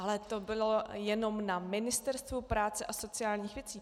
Ale to bylo jenom na Ministerstvu práce a sociálních věcí.